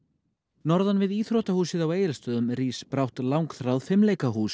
norðan við íþróttahúsið á Egilsstöðum rís brátt langþráð